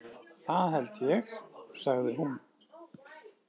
Það held ég, sagði hún.